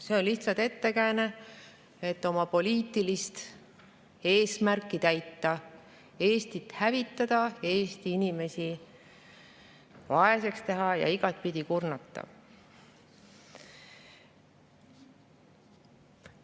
See on lihtsalt ettekääne, et täita oma poliitilist eesmärki, Eestit hävitada, Eesti inimesi vaeseks teha ja igatepidi kurnata.